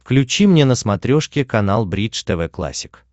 включи мне на смотрешке канал бридж тв классик